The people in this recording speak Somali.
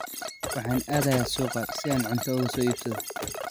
Waxaan aadayaa suuqa si aan cunto uga soo iibsado.